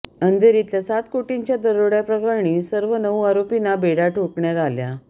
अंधेरीतल्या सात कोटींच्या दरोड्याप्रकरणी सर्व नऊ आरोपींना बेड्या ठोकण्यात आल्या